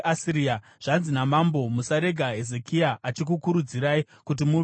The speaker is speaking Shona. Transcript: Zvanzi namambo: Musarega Hezekia achikunyengerai. Haagoni kukudzikinurai kubva muruoko rwangu